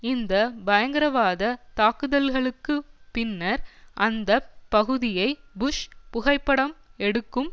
இந்த பயங்கரவாத தாக்குதல்களுக்கு பின்னர் அந்த பகுதியை புஷ் புகைப்படம் எடுக்கும்